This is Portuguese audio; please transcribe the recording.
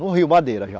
No Rio Madeira, já.